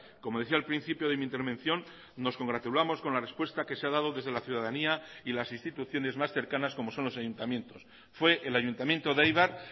como decía al principio de mi intervención nos congratulamos con la respuesta que se ha dado desde la ciudadanía y las instituciones más cercanas como son los ayuntamientos fue el ayuntamiento de eibar